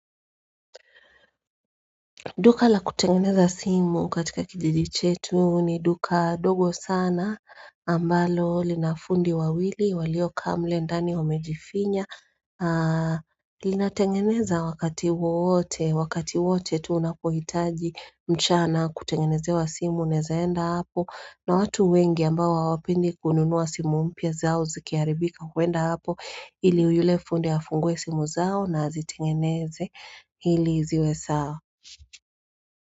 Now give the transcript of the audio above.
Nduka la kutengeneza simu katika kijiji chetu ni duka dogo sana ambalo linafundi wawili walio kaa mule ndani wamejifinya. Linatengeneza wakati wote, wakati wote tu unapohitaji mchana kutengeneze wa simu unezaenda hapo na watu wengi ambao hawapendi kununuwa simu mpya zao zikiharibika huenda hapo ili uyule fundi afunguwe simu zao na azitengeneze ili ziwe sawa.